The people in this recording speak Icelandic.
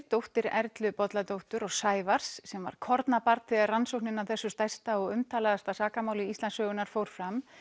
dóttir Erlu Bolladóttur og Sævars sem var kornabarn þegar rannsóknin á þessu stærsta og umtalaðasta sakamáli Íslandssögunnar fór fram